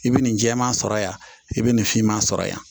I bɛ nin jɛman sɔrɔ yan i bɛ nin finma sɔrɔ yan